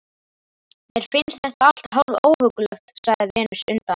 Mér finnst þetta allt hálf óhuggulegt, sagði Venus undan